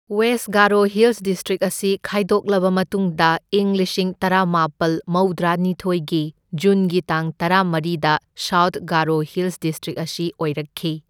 West Garo hills district ꯑꯁꯤ ꯈꯥꯏꯗꯣꯛꯂꯕ ꯃꯇꯨꯡꯗ ꯏꯪ ꯂꯤꯁꯤꯡ ꯇꯔꯥꯃꯥꯄꯜ ꯃꯞꯗ꯭ꯔꯥꯅꯤꯊꯣꯢꯒꯤ ꯖꯨꯟꯒꯤ ꯇꯥꯡ ꯇꯔꯥ ꯃꯔꯤꯗ ꯁꯥꯎꯊ ꯒꯥꯔꯣ ꯍꯤꯜꯁ ꯗꯤꯁꯇ꯭ꯔꯤꯛ ꯑꯁꯤ ꯑꯣꯏꯔꯛꯈꯤ꯫